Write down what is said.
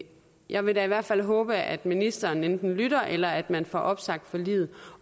jeg vil da i hvert fald håbe at ministeren enten lytter eller at man får opsagt forliget